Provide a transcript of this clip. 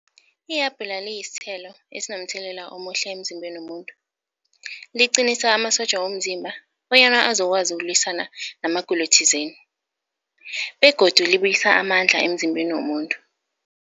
Ihabhula liyisithelo esinomthelela omuhle emzimbeni womuntu. Liqinisa amasotja womzimba bonyana azokwazi ukulwisana namagulo thizeni begodu libuyisa amandla emzimbeni womuntu.